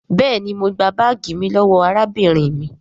béèni mọ gbà baagi mí lówó arábìnrin mí.